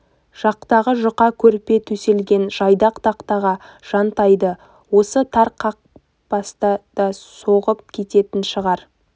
жақтағы жұқа көрпе төселген жайдақ тақтаға жантайды осы тар қапасқа да соғып кететін шығар